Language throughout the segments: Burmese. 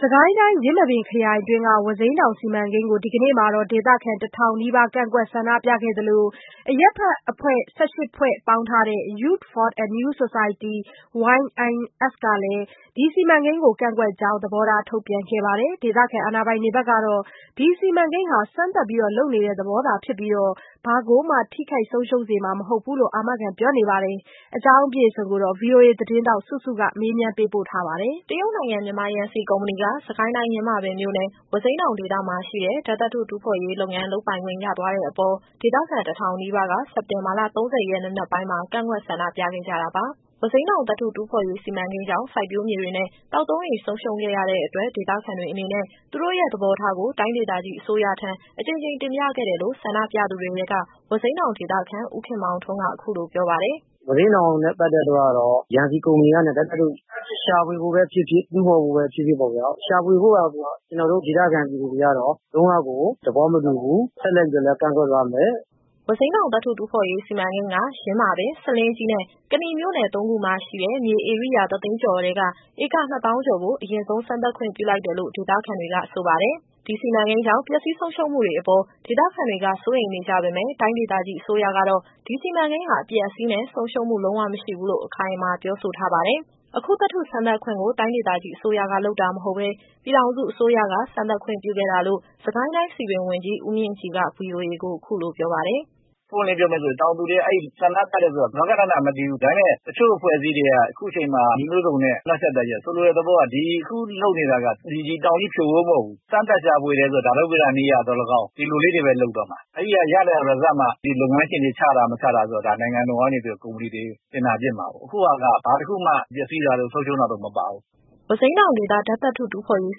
စစ်ကိုင်းတိုင်း၊ ယင်းမာပင်ခရိုင်အတွင်းက ဝါးစိမ်းတောင်စီမံကိန်းကို ဒီကနေ့မှာ ဒေသခံ တထောင်နီးပါး ကန့်ကွက်ဆန္ဒပြခဲ့သလို၊ အရပ်ဖက်အဖွဲ့ ၁၈ ဖွဲ့ ပေါင်းထားတဲ့ Youth for a New Society (YNS) ကလည်း ဒီစီမံကိန်းကို ကန့်ကွက်ကြောင်း သဘောထား ထုတ်ပြန်ခဲ့ပါတယ်။ ဒေသအာဏာပိုင်တွေကတော့ ဒီ စီမံကိန်းဟာ စမ်းသပ် လုပ်နေတဲ့ သေဘောသာဖြစ်ပြီး၊ ဘာကိုမှ ထိခိုက်ဆုံးရှုံးစေမှာမဟုတ်ဘူးလို့ အာမခံ ပြောနေပါတယ်။ ဒီအကြောင်းအပြည့်အစုံကို ဗွီအိုအေသတင်းထောက် စုစုက မေးမြန်းပေးပို့ထားပါတယ်။ တရုတ်နိုင်ငံ မြန်မာယန်စီကုမ္ပဏီက စစ်ကိုင်းတိုင်း၊ ယင်းမာပင်မြို့နယ်၊ ဝါးစိမ်းတောင် ဒေသမှာရှိတဲ့ဓာတ်သတ္ထု စမ်းသပ်တူးဖော်ရေးလုပ်ပိုင်ခွင့်ရသွားတဲ့အပေါ် ဒေသခံ တစ်ထောင် နီးပါးက စက်တင်ဘာလ ၃၀ရက် နံနက်ပိုင်းမှာ ကန့်ကွက်ဆန္ဒပြကြတာပါ။ ဝါးစိမ်းတောင် သတ္ထုတူးဖော်ရေးစီမံကိန်းကြောင့် စိုက်ပျိုးမြေတွေနဲ့ သောက်သုံးရေ ဆုံးရှုံးခဲ့ရတဲ့ အတွက် ဒေသခံတွေအနေနဲ့ သူတို့ရဲ့သဘောထားကို တိုင်းဒေသကြီးအစိုးရထံ အကြိမ်ကြိမ် တင်ပြခဲ့တယ်လို့ ဆန္ဒပြသူတွေထဲက ဝါးစိမ်းတောင်ဒေသခံ ဦးခင်မောင်ထွန်းက အခုလိုပြောပါတယ်။ “ဝါးစိမ်းတောင်နဲ့ ပတ်သက်လို့ကတော့ ယန်စီကုမ္ပဏီကနေ ဓာတ်သတ္ထုရှာဖွေဖို့ပဲဖြစ်ဖြစ်၊ တူးဖော်ဖို့ပဲ ဖြစ်ဖြစ်ပေါ့ဗျာ။ ရှာဖွေဖို့ကိုက ကျတော်တို့ဒေသခံပြည်သူတွေကတော့ လုံးဝကိုသဘောမတူဘူး။ ဆက်လက်ပြီးတော့လည်း ကန့်ကွက်သွားမယ်။” ဝါးစိမ်းတောင် သတ္ထုတူးဖော်ရေးစီမံကိန်းက ယင်းမာပင်၊ ဆားလင်းကြီးနဲ့ ကနီမြို့နယ်၃ခုမှာရှိတဲ့ မြေဧရိယာ တစ်သိန်းကျော်ထဲက ဧက ၂သောင်းကျော်ကို အရင်ဆုံးစမ်းသပ်ခွင့်ပြုလိုက်တယ်လို့ ဒေသခံတွေကဆိုပါတယ်။ ဒီစီမံကိန်းကြောင့် ပျက်စီးဆုံးရှုံးမှုတွေအပေါ် ဒေသခံတွေက စိုးရိမ်နေကြပေမယ့် တိုင်းဒေသကြီး အစိုးရကတော့ ဒီစီမံကိန်းဟာ အပျက်အစီးနဲ့ ဆုံးရှုံးမှုလုံးဝမရှိဘူးလို့ အခိုင်အမာပြေဆိုထားပါတယ်။ အခုသတ္ထုစမ်းသပ်ခွင့်ကို တိုင်းအစိုးရကလုပ်တာမဟုတ်ဘဲ၊ ပြည်ထောင်စုအစိုးရက စမ်းသပ်ခွင့်ပြုခဲ့တာလို့ စစ်ကိုင်းတိုင်းစည်ပင်ဝန်ကြီး ဦးမြင့်ကြည်က ဗွီအိုအေကို အခုလိုပြောပါတယ်။ “ပွင့်ပွင့်လင်းလင်း ပြောမယ်ဆိုရင် တောင်သူတွေက အဲဒီဆန္ဒပြတယ်ဆိုတာ ဂဃနဏမသိဘူး။ ဒါပေမယ့် တချို့အဖွဲ့အစည်းတွေက အခုချိန်မှာ နည်းမျိုးစုံနဲ့ နှောင့်ယှက်တာရှိတယ်။ ဆိုလိုတဲ့သဘောက ဒီအခုလုပ်နေတာက ဒီတောင်ကြီးဖြိုဖို့မဟုတ်ဘူး။ စမ်းသပ်ရှာဖွေတယ်ဆိုတာ ဓာတုဗေဒနည်းအရသော်လည်းကောင်း ဒီလိုလေးတွေပဲလုပ်သွားမှာ။ အဲဒီကရလာတဲ့ Research (သုတေသန) မှာ ဒီလုပ်ငန်းရှင်တွေ ချတာ၊ မချတာဆိုတာ ဒါနိုင်ငံတော်ကနေပြီးတော့ ကုမ္ပဏီတွေတင်ဒါပစ်မှာကို။ အခုဟာက ဘာတစ်ခုမှပျက်စီးတာတို့၊ ဆုံးရှုံးတာတို့ မပါဘူး။” ဝါးစိမ်းတောင်ဒေသ ဓာတ်သတ္ထုစမ်းသပ်တူးဖော်ရေး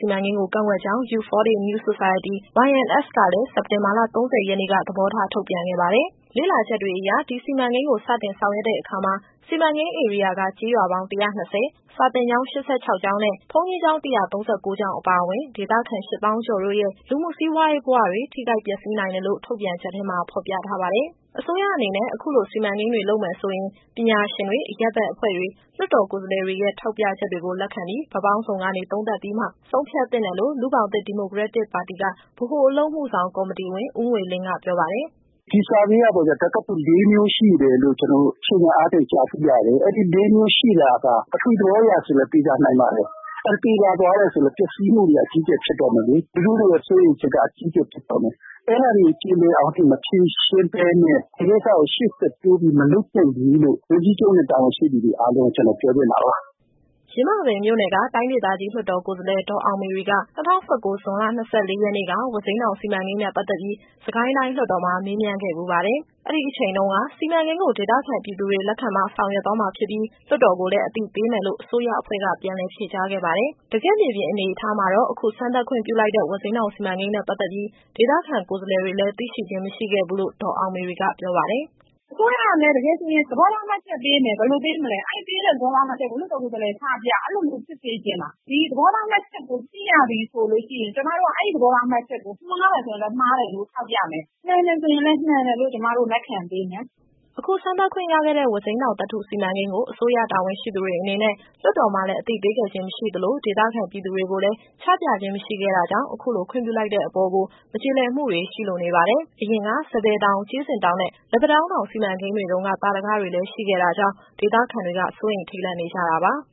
စီမံကိန်းကို ကန့်ကွက်ကြောင်း Youth for a New Society (YNS) ကလည်း စက်တင်ဘာလ ၃၀ရက်နေ့က သဘောထားထုတ်ပြန်ခဲ့ပါတယ်။ လေ့လာချက်တွေအရ ဒီစီမံကိန်းကို စတင်ဆောင်ရွက်တဲ့အခါမှာ စီမံကိန်းဧရိယာက ကျေးရွာပေါင်း ၁၂၀၊ စာသင်ကျောင်း ၈၆ ကျောင်းနဲ့ ဘုန်းကြီးကျောင်း ၁၃၉ ကျောင်းအပါအဝင်၊ ဒေသခံ ၈၀,၀၀၀ ကျော်တို့ရဲ့ လူမှုစီးပွားရေးဘဝတွေ ထိခိုက်ပျက်စီးနိုင်တယ်လို့ ထုတ်ပြန်ချက်ထဲမှာ ဖော်ပြ ထားပါတယ်။ အစိုးရအနေနဲ့ အခုလိုစီမံကိန်းတွေ လုပ်မယ်ဆိုရင် ပညာရှင်တွေ ၊ အရပ်ဘက် အဖွဲ့တွေ၊ လွှတ်တော်ကိုယ်စားလှယ်တွေရဲ့ ထောက်ပြချက်တွေကို လက်ခံပြီး ဘက်ပေါင်းစုံကနေ သုံးသပ်ပြီးမှ ဆုံးဖြတ်သင့်တယ်လို့ လူ့ဘောင်သစ်ဒီမိုကရက်တစ်ပါတီက ဗဟိုအလုပ်မှုဆောင်ကော်မတီဝင် ဦးငွေလင်းက ပြောပါတယ်။ “ဒီ Survey (အစီရင်ခံစာ) ကပေါ့ဗျာ ဓာတ်သတ္ထုလေးမျိုးရှိတယ်လို့ ကျတော်တို့ အခြေခံအားဖြင့် ကြားသိရတယ်။ အဲဒီလေးမျိုးရှိတာက ပထဝီသဘောအရဆိုရင်လည်း သေချာနိုင်ပါတယ်။ အဲတော့ သေချာသွားတယ်ဆို ပျက်စီးမှုတွေက အကြီးအကျယ်ဖြစ်တော့မယ်လေ။ လူထုတွေရဲ့ စိုးရိမ်ချက်က အကြီးအကျယ်ဖြစ်တော့မယ်။ အဲဒါတွေကို ကျေလည်အောင်အထိ မဖြေရှင်းဘဲနဲ့ ဒီကိစ္စကို ရှေ့ဆက်တိုးပြီးမလုပ်သင့်ဘူးလို့ ဝန်ကြီးချုပ်နဲ့ တာဝန်ရှိသူတွေအားလုံးကို ကျတော်ပြောချင်တာပါ။” ယင်းမာပင်မြို့နယ်က တိုင်းဒေသကြီးလွှတ်တော်ကိုယ်စားလှယ် ဒေါ်အောင်မေရီက ၂၀၁၉၊ ဇွန်လ ၂၄ရက်နေ့က ဝါးစိမ်းတောင်စီမံကိန်းနဲ့ပတ်သက်ပြီး စစ်ကိုင်းတိုင်းလွှတ်တော်မှာမေးမြန်းခဲ့ဖူးပါတယ်။ အဲဒီအချိန်တုန်းက စီမံကိန်းကို ဒေသခံပြည်သူတွေလက်ခံမှ ဆောင်ရွက်သွားမှာဖြစ်ပြီး၊ လွှတ်တော်ကိုလည်းအသိပေးမယ်လို့ အစိုးရအဖွဲ့က ပြန်လည်ဖြေကြားခဲ့ပါတယ်။ တကယ့်မြေပြင်အနေအထားမှာတော့ အခုစမ်းသပ်ခွင့်ပြုလိုက်တဲ့ ဝါးစိမ်းတောင်စီမံကိန်းနဲ့ ပတ်သက်ပြီး ဒေသခံကိုယ်စားလှယ်တွေလည်း သိရှိခြင်းမရှိခဲ့ဘူးလို့ ဒေါ်အောင်မေရီကပြောပါတယ်။ “အစိုးရကလည်း တကယ်ဆိုရင် သဘောထားမှတ်ချက်ပေးမယ်။ ဘယ်လိုပေးမလဲ အဲဒီပေးတဲ့သဘောထားမှတ်ချက်ကို လွှတ်တော်ကိုယ်စားလှယ်ချပြ။ အဲလိုမျိုးဖြစ်စေချင်တာ။ ဒီသဘောထားမှတ်ချက်ကို သိရပြီဆိုလို့ရှိရင် ကျမတို့က အဲဒီသဘောထားမှတ်ချက်ကို မှားတယ်ဆိုလည်း မှားတယ်လို့ထောက်ပြမယ်။ မှန်တယ်ဆိုလည်း မှန်တယ်လို့ ကျမတို့လက်ခံပေးမယ်။” အခုစမ်းသပ်ခွင့်ရခဲ့တဲ့ ဝါးစိမ်းတောင်သတ္ထုစီမံကိန်းကို အစိုးရတာဝန်ရှိသူတွေအနေနဲ့ လွှတ်တော်မှာလည်း အသိပေးခဲ့ခြင်းမရှိသလို၊ ဒေသခံပြည်သူတွေကိုလည်း ချပြခြင်းမရှိခဲ့တာကြောင့် အခုလို ခွင့်ပြုလိုက်တဲ့အပေါ်ကို မကျေလည်မှုတွေရှိလို့နေပါတယ်။ အရင်က စံပယ်တောင်၊ ကြေးစင်တောင် နဲ့ လက်ပံတောင်းတောင်စီမံကိန်းတွေတုန်းက သာဓကတွေရှိထားတာကြောင့်လည်း ဒေသခံတွေက စိုးရိမ်ထိတ်လန့်နေကြတာပါ။